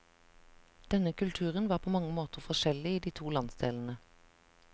Denne kulturen var på mange måter forskjellig i de to landsdelene.